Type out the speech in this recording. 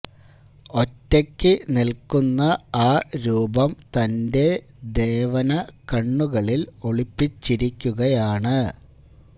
ഒറ്റക്ക് നില്ക്കുന്ന ആ രൂപം തന്റെ ദേവന കണ്ണുകളില് ഒളിപ്പിച്ചിരിക്കുകയാണ്